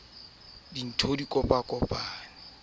e be se ha se